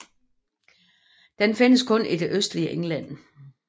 Den findes kun i det østligste England